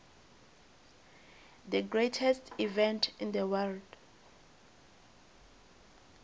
the greatest event in the world